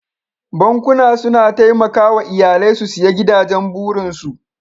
Bankuna suna taimakawa iyalai su siya gidajen burinsu.